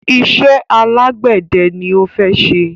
Iṣẹ́ alágbẹ̀dẹ ni ó fẹ́ ṣe.